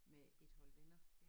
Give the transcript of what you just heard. Med et hold venner